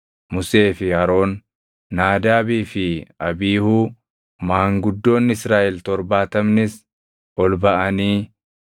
Musee fi Aroon, Naadaabii fi Abiihuu, maanguddoonni Israaʼel torbaatamnis ol baʼanii